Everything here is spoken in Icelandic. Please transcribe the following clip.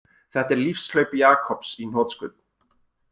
Þetta er lífshlaup Jakobs í hnotskurn